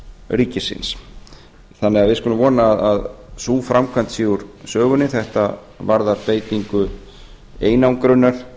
ríkisins við skulum því vona að sú framkvæmd sé úr sögunni þetta varðar beitingu einangrunar